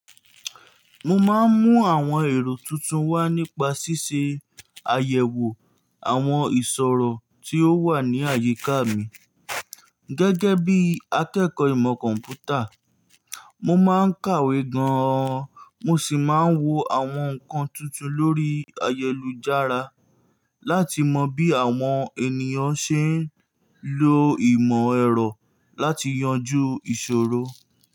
Mo máa ń mú àwọn èrò tuntun wá nípa ṣíṣe àyẹ̀wò àwọn ìṣòrò tí ó wà ní àyíká mi. Gẹ́gẹ́ bí akẹ́kọ̀ọ́ ìmọ̀ kọ̀m̀pútà, mo máa ń kàwé gan-an, mo sì máa ń wo àwọn nǹkan tuntun lórí ayélujára láti mọ bí àwọn ènìyàn ṣe ń lo ìmọ̀ ẹ̀rọ láti yanjú ìṣòro.